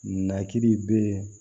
Nakiri bɛ